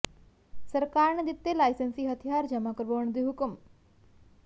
ਸਰਕਾਰ ਨੇ ਦਿੱਤੇ ਲਾਈਸੈਂਸੀ ਹਥਿਆਰ ਜਮ੍ਹਾ ਕਰਵਾਉਣ ਦੇ ਹੁਕਮ